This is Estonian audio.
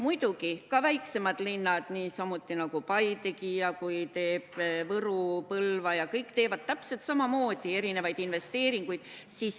Muidugi, ka väiksemad linnad niisamuti nagu Paide, Võru ja Põlva – kõik teevad täpselt samamoodi investeeringuid.